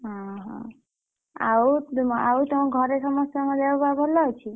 ହୁଁ ହୁଁ ଆଉ ତୁମ ଆଉ ତମ ଘରେ ସମସ୍ତଙ୍କ ଦେହ ପାହ ଭଲ ଅଛି?